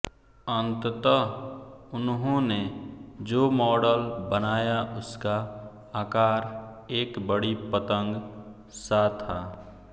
अंतत उन्होंने जो मॉडल बनाया उसका आकार एक बड़ी पतंग सा था